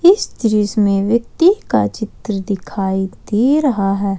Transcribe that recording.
इस दृश्य में व्यक्ति का चित्र दिखाई दे रहा है।